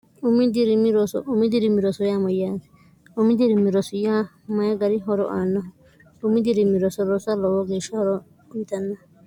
umi dirimiroumi dirimi rosoymoyyaati umi dirimi rosiya mayi gari horo aannahu umi dirimi rosorosa loowo geeshsha horo witanna